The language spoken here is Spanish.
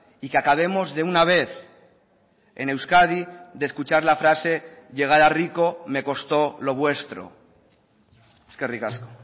y que acabemos de una vez en euskadi de escuchar la frase llegar a rico me costó lo vuestro eskerrik asko